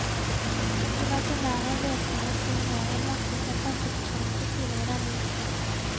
De var så nær en løsning at guvernøren varslet en pressekonferanse tidligere denne uken.